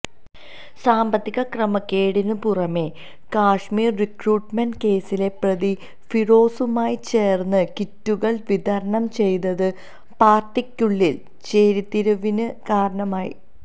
സാമ്പത്തിക ക്രമക്കേടിന് പുറമെ കശ്മീര് റിക്രൂട്ട്മെന്റ് കേസിലെ പ്രതി ഫിറോസുമായി ചേര്ന്ന് കിറ്റുകള് വിതരണം ചെയ്തത് പാര്ട്ടിക്കുള്ളില് ചേരിതിരിവിന് കാരണമായി